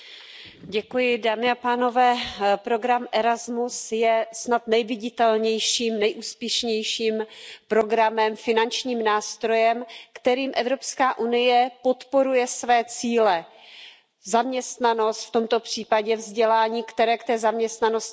Paní předsedající, program Erasmus je snad nejviditelnějším, nejúspěšnějším programem, finančním nástrojem, kterým Evropská unie podporuje své cíle zaměstnanosti, v tomto případě vzdělání, které k té zaměstnanosti velmi přispívá.